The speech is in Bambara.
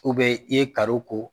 i ye karo ko.